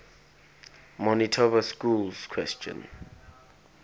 manitoba schools question